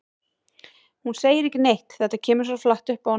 Hún segir ekki neitt, þetta kemur svo flatt upp á hana.